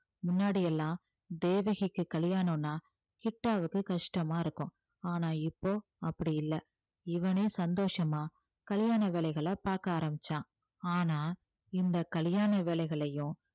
முன்னாடி எல்லாம் தேவகிக்கு கல்யாணம்னா கிட்டாவுக்கு கஷ்டமா இருக்கும் ஆனா இப்போ அப்படி இல்லை இவனே சந்தோஷமா கல்யாண வேலைகளை பார்க்க ஆரம்பிச்சான் ஆனா இந்த கல்யாண வேலைகளையும்